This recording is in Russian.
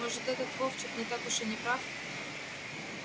может этот вовчик не так уж и не прав